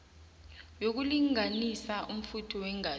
yokulinganisa umfutho weengazi